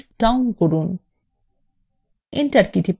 এবং enter key টিপুন